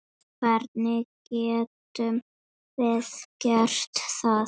Hvernig getum við gert það?